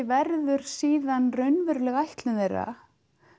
verður síðan raunverulega ætlun þeirra